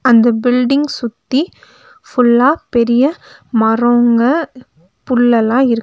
அந்த பில்டிங் சுத்தி ஃபுல்லா பெரிய மரோங்க புல்ளெல்லா இருக்கு.